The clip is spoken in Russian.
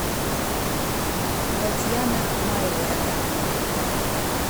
татьяна майборода